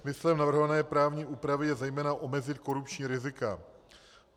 Smyslem navrhované právní úpravy je zejména omezit korupční rizika.